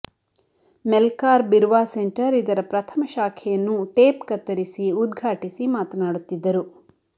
Melkar Birva centre ಇದರ ಪ್ರಥಮ ಶಾಖೆಯನ್ನು ಟೇಪ್ ಕತ್ತರಿಸಿ ಉದ್ಘಾಟಿಸಿ ಮಾತನಾಡುತ್ತಿದ್ದರು